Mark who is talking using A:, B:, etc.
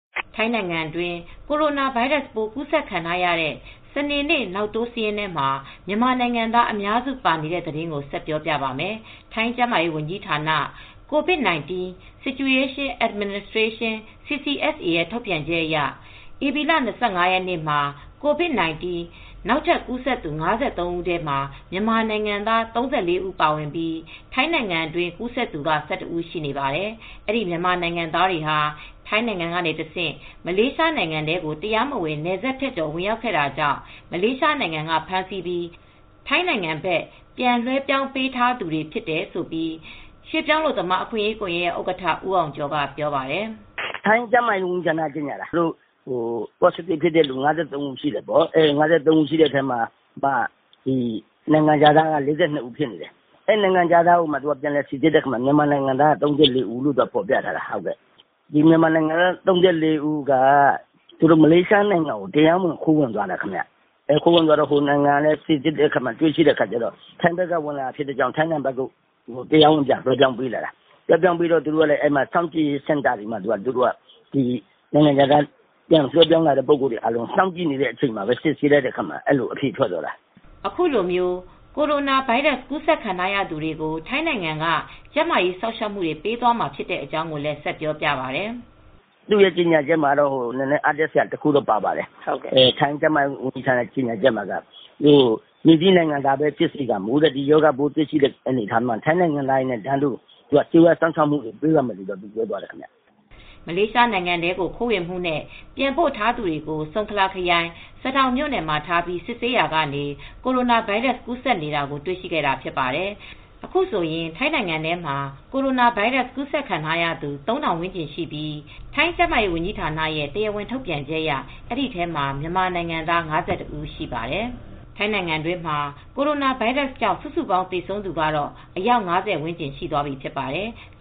A: ထိုင်းနိုင်ငံတွင်း ကိုရိုနာဗိုင်းရပ်စ်ပိုး ကူးစက်ခံထားရတဲ့ စနေနေ့ နောက်တိုးစာရင်းထဲမှာ မြန်မာနိုင်ငံသား အများစု ပါဝင်နေပါတယ်။ အပြည့်အစုံကို ထိုင်းအခြေစိုက် ဗွီအိုအေ မြန်မာပိုင်းသတင်းထောက် မအေးအေးမာ တင်ပြပေးထားပါတယ်။ ထိုင်းကျန်းမာရေးဝန်ကြီးဌာန၊ COVID-19 Situation Administration ရဲ့ ထုတ်ပြန်ချက်အရ ဧပြီလ ၂၅ ရက်နေ့မှာ COVID-19 နောက်ထပ်ကူးစက်သူ ၅၃ ဦးထဲ မြန်မာနိုင်ငံသား ၃၄ ဦး ပါဝင်ပြီး ထိုင်းနိုင်ငံတွင်း ကူးစက်သူက ၁၁ ဦး ရှိပါတယ်။ အဲဒီ မြန်မာနိုင်ငံသားတွေဟာ ထိုင်းနိုင်ငံကနေတဆင့် မလေးရှားနိုင်ငံထဲကို တရားမဝင် နယ်စပ်ဖြတ်ကျော် ဝင်ရောက်ခဲ့တာကြောင့် မလေးရှားနိုင်ငံက ဖမ်းဆီးပြီး ထိုင်းနိုင်ငံဘက် ပြန်လွှဲပြောင်းပေးထားသူတွေ ဖြစ်တယ်လို့ ရွှေ့ပြောင်းအလုပ်သမား အခွင့်အရေးကွန်ရက်ရဲ့ ဥက္ကဋ္ဌ ဦးအောင်ကျော်က ပြောပါတယ်။ "ထိုင်းကျန်းမာရေးဝန်ကြီးဌာ
B: နက ကြေညာတာ ပေါ့စတစ်ဖြစ်သူ ၅၃ ဦးရှိတယ်ပေါ့။ အဲဒီထဲမှာ နိုင်ငံခြားသား ၄၂ ဦးဖြစ်တယ်။ အဲဒီ နိုင်ငံခြားသားကို ပြန်စိစစ်တော့ မြန်မာနိုင်ငံသားက ၃၄ ဦးလို့ ဖော်ပြတယ်။ ဒီ မြန်မာနိုင်ငံသား ၃၄ ဦးက မလေးရှားနိုင်ငံကို ခိုးဝင်သွားလို့ ဟိုနိုင်ငံက စစ်ဆေးပြီး ထိုင်းဘက်က ဝင်လာတာမို့ ထိုင်းကို မလေးရှားက ပြန်ပြီး တရားဝင်လွဲှပြောင်းပေးလာတာ။ အဲဒီ လွဲှပြောင်းပေးလာသူတွေကို စောင့်ကြည့်ရေးစင်တာမှာ ထားပြီး စစ်ဆေးလိုက်တဲ့အခါ အခုလို အဖြေထွက်တ
A: ာ။" အခုလို ကိုရိုနာဗိုင်းရပ်စ် ကူးစက်ခံထားရသူတွေကို ထိုင်းနိုင်ငံက ကျန်းမာရေးစောင့်ရှောက်မှုတွေ ပေးသွားမှာ ဖြစ်တဲ့အကြောင်းကိုလည်း ဆက်ပြောပြပါတယ်။ "သူတို့
B: ထိုင်းကျန်းမာရေးဝန်ကြီးဌာနရဲ့ ကြေညာချက်ထဲမှာတော့ အားတက်စရာ ပါပါတယ်။ မည်သည့်နိုင်ငံသားပဲဖြစ်စေ ဒီရောဂါပိုး ဖြစ်နေတယ်ဆိုရင် ထိုင်းနိုင်ငံသားတွေနည်းတူ ကျန်းမာရေးစောင့်ရှောက်မှုတွေ ပေးသွားမယ်ဆိုတာ ပါပါတယ်။"
A: မလေးရှားနိုင်ငံထဲကို ခိုးဝင်မှုနဲ့ ပြန်ပို့ထားသူတွေကို ဆုန်ခလာခရိုင် စဒေါင်မြို့နယ်မှာထားပြီး စစ်ဆေးရာကနေ ကိုရိုနာဗိုင်းရပ်စ် ကူးစက်နေတာကို တွေ့ရှိခဲ့တာ ဖြစ်ပါတယ်။ အခုဆိုရင် ထိုင်းနိုင်ငံထဲမှာ ကိုရိုနာဗိုင်းရပ်စ် ကူးစက်ခံထားရသူ ၃,၀၀၀ ဝန်းကျင်ရှိပြီး ထိုင်းကျန်းမာရေးဌာနရဲ့ တရားဝင်ထုတ်ပြန်ချက်အရ အဲဒီထဲမှာ မြန်မာနိုင်ငံသား ၅၁ ဦး ရှိပါတယ်။ ထိုင်းနိုင်ငံတွင်းမှာ ကိုရိုနာဗိုင်းရပ်စ်ကြောင့် စုစုပေါင်း သေဆုံးသူကတော့ အယောက် ၅၀ ဝန်းကျင် ရှိသွားပြီဖြစ်ပါတယ်။